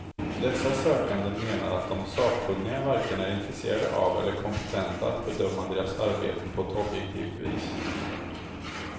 Dessa sökande menar att de sakkunniga varken är intresserade av eller kompetenta att bedöma deras arbeten på ett objektivt vis.